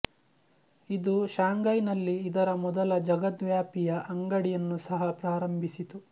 ಇದು ಶಾಂಗೈನಲ್ಲಿ ಇದರ ಮೊದಲ ಜಗದ್ವ್ಯಾಪಿಯ ಅಂಗಡಿಯನ್ನು ಸಹ ಪ್ರಾರಂಭಿಸಿತು